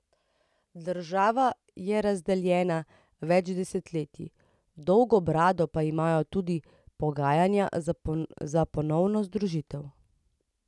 Država je razdeljena več desetletij, dolgo brado pa imajo tudi pogajanja za ponovno združitev.